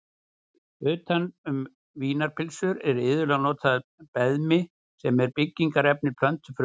Utan um vínarpylsur er iðulega notað beðmi sem er byggingarefni plöntufruma.